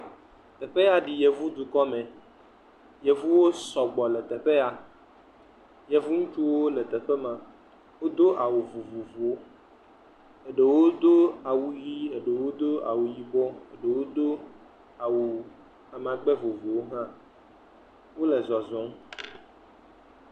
Teƒe ya ɖi yevudukɔme, yevuwo sɔgbɔ le teƒe. Yevu ŋutsuwo le teƒe ya, wodo awu vovovowo, ɖewo do awu ʋi eye ɖewo do awu yibɔ ɖewo do awu amagbe vovovowo hã wole zɔzɔm.